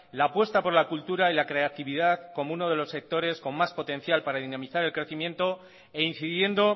la apuesta por la cultura y la creatividad como uno de los sectores con más potencial para dinamizar el crecimiento e incidiendo